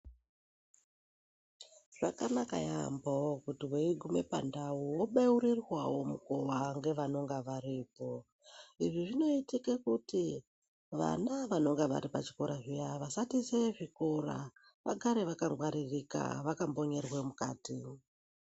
Zvakanaka yaambo kuti veigume pandau vobeurirwa nguva nevanenga varipo. Izvi zvinoitike kuti vana vanonga vari pachikora zviya vasatize zvikora vagare vakangwaririka vakambonyerwe mukati.